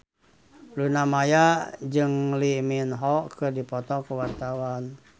Luna Maya jeung Lee Min Ho keur dipoto ku wartawan